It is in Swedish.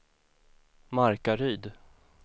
Markaryd